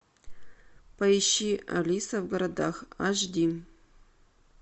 поищи алиса в городах аш ди